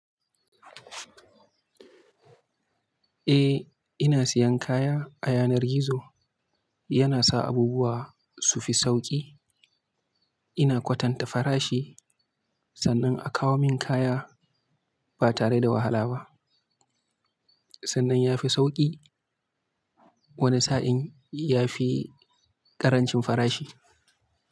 Eh ina siyan kaya a yanar gizo, yana sa abubuwa su fi sauƙi. Ina kwatanta farashi sannan a kawo min kaya ba tare da wahala ba. Sannan ya fi sauƙi wani sa'in ya fi ƙarancin farashi.